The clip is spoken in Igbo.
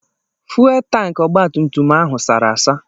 Fuwel tankị ọgbatumtum ahụ sara asa.